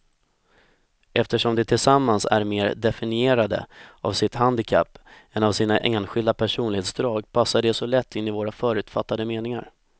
Eftersom de tillsammans är mer definierade av sitt handikapp än av sina enskilda personlighetsdrag passar de så lätt in i våra förutfattade meningar.